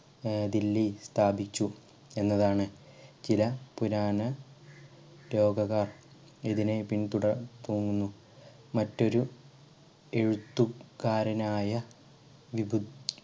ഏർ ദില്ലി സ്ഥാപിച്ചു എന്നതാണ് ചില പുരാണ രോകകാർ ഇതിനെ പിന്തുടർ രുന്നു മറ്റൊരു എഴുത്തുകാരനായ വിപു